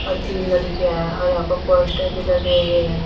तीन लड़कियां हैं और यहां पर पोस्टर भी लगे हुए हैं।